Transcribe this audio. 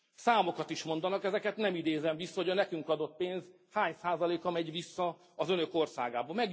Számokat is mondanak, ezeket nem idézem vissza, hogy a nekünk adott pénz hány százaléka megy vissza az Önök országába.